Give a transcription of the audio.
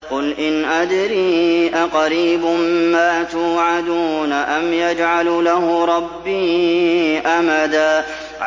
قُلْ إِنْ أَدْرِي أَقَرِيبٌ مَّا تُوعَدُونَ أَمْ يَجْعَلُ لَهُ رَبِّي أَمَدًا